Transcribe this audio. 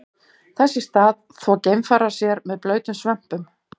Þess í stað þvo geimfarar sér með blautum svömpum.